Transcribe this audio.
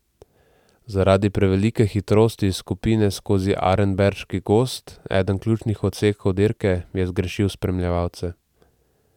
Zaradi prevelike hitrosti skupine skozi Arenberški gozd, eden ključnih odsekov dirke, je zgrešil spremljevalce.